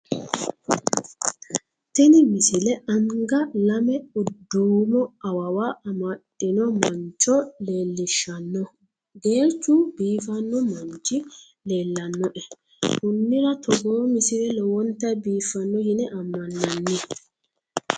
tini misile anga lame duumo awawa amadino mancho leellishshanno geerchu biifanno manchi leellanoe konira togoo misile lowonta biiffanno yine ammannanni